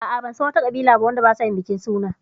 Ah ah, ban san wa ta ƙabila ba wadda ba sa yin bikin suna